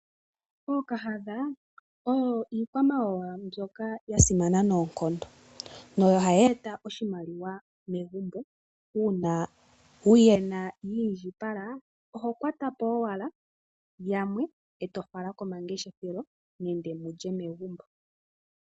Ookahadha oyo iikwamawawa mbyoka ya simana noonkondo, nohayi eta oshimaliwa megumbo. Uuna wuyena yi indjipala, oho kwata po owala yamwe, e tofala komangeshethelo, nenge mulye megumbo.